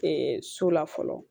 so la fɔlɔ